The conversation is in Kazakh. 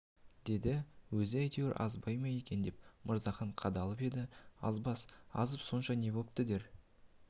деді өзі әйтеуір азбай ма екен деп мырзахан қадалып еді азбас азып сонша не бопты дер